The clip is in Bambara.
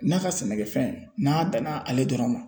N'a ka sɛnɛkɛfɛn n'a danna ale dɔrɔn ma